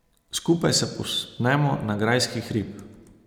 Skupaj se povzpnemo na grajski hrib.